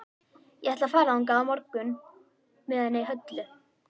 Ég ætla að fara þangað á morgun með henni Höllu.